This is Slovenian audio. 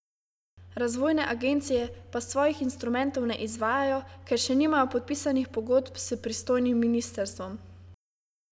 Razvojne agencije pa svojih instrumentov ne izvajajo, ker še nimajo podpisanih pogodb s pristojnim ministrstvom.